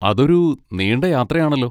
അതൊരു നീണ്ട യാത്ര ആണല്ലോ.